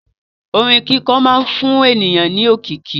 Orin kíkọ máa ń fún ènìyàn ní òkìkí.